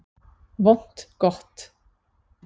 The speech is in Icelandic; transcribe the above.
Vont gott